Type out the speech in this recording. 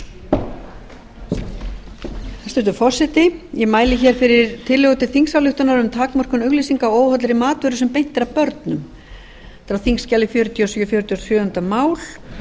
hæstvirtur forseti ég mæli hér fyrir tillögu til þingsályktunar um takmörkun auglýsinga á óhollri matvöru sem beint er að börnum þetta er á þingskjali fjörutíu og sjö fertugasta og sjöunda mál